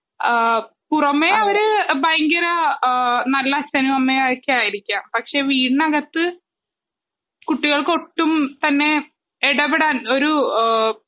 പുറമെ ഒരു ഭയങ്കര നല്ല അച്ഛനും അമ്മയും ഒക്കെ ആയിരിക്കും പക്ഷെ വീടിനകത്തു കുട്ടികൾക്ക് ഒട്ടും തന്നെ ഇടപെടാൻ ഒരു